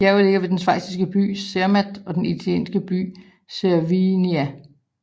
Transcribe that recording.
Bjerget ligger ved den schweiziske by Zermatt og italienske by Cervinia